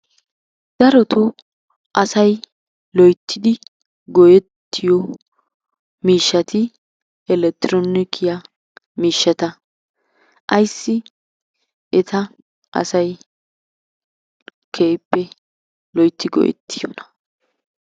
Darotoo asay loyttidi go'ettiyo miishshati elekitiroonikiya miishshata. Ayssi eta asay keehippe loytti go'ettiyonaa?